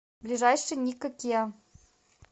ближайший никко киа